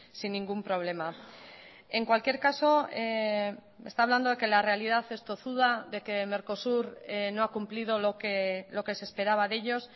sin ningún problema en cualquier caso está hablando de que la realidad es tozuda de que mercosur no ha cumplido lo que se esperaba de ellos